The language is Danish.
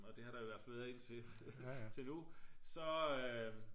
og det har der i hvert fald været indtil nu så